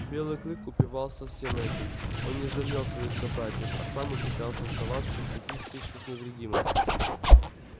белый клык упивался всем этим он не жалел своих собратьев а сам ухитрялся оставаться в таких стычках невредимым